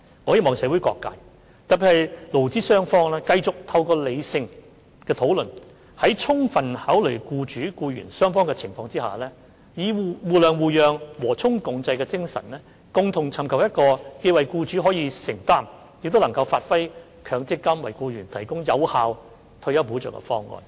我希望社會各界，特別是勞資雙方繼續透過理性的討論，在充分考慮僱主和僱員雙方的情況下，以互諒互讓、和衷共濟的精神，共同尋求一個既為僱主可以承擔，亦能發揮強積金為僱員提供有效退休保障的方案。